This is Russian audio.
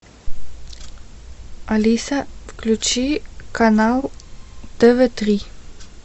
алиса включи канал тв три